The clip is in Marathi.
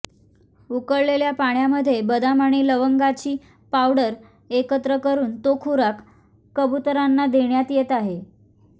उकळलेल्या पाण्यामध्ये बदाम आणि लवंगाची पावडर एकत्र करून तो खुराक कबुतरांना देण्यात येत आहे